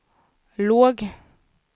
låg